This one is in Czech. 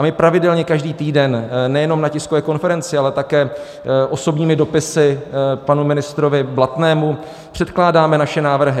A my pravidelně každý týden nejenom na tiskové konferenci, ale také osobními dopisy panu ministrovi Blatnému předkládáme naše návrhy.